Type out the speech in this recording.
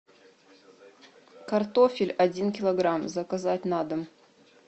картофель один килограмм заказать на дом